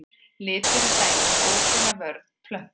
Litur er dæmi um óbeina vörn plöntu.